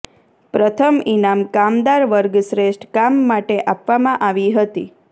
પ્રથમ ઇનામ કામદાર વર્ગ શ્રેષ્ઠ કામ માટે આપવામાં આવી હતી